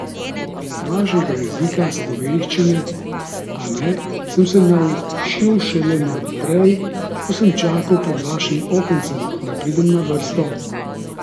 Vašega jezika, slovenščine, a ne, sem se naučil šele malo prej, ko sem čakal pred vašim okencem, da pridem na vrsto.